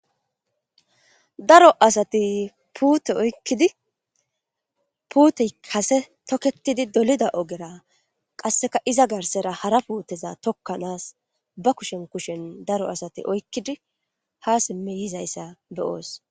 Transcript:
daro asati pute okkidi pute kase toketidi dolida ogera qasseka iza garsera hara puuteza tokkanaas ba kushen kushen daro asati oykkidi ha simme yizayssa beyoos